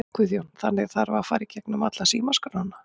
Guðjón: Þannig að það þarf að fara í gegnum alla símaskrána?